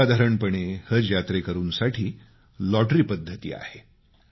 सर्वसाधारणपणे हज यात्रेकरूंसाठी लॉटरी पद्धती आहे